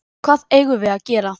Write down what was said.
Hvað eigum við að gera?